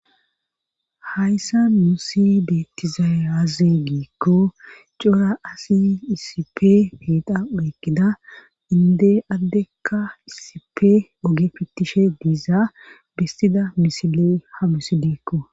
hayssa nusi bettizayi aze giikko cora asi isipe eqa oyikkida inde addekka isipe oge fittishe diizaa besida misiley ha misilekko